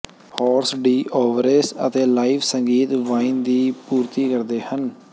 horse d' oeuvres ਅਤੇ live ਸੰਗੀਤ wine ਦੀ ਪੂਰਤੀ ਕਰਦੇ ਹਨ